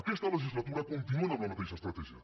aquesta legislatura continuen amb la mateixa estratègia